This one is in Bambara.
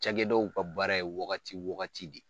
Cagɛ daw ka baara ye wagati wagati de ye.